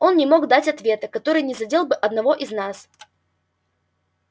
он не мог дать ответа который не задел бы одного из нас